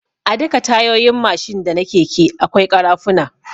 A duka Tayoyin Mashin da na keke akwai kara funa